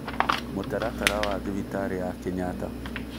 Mũtaratara wa thibitarĩ ya Kenyatta: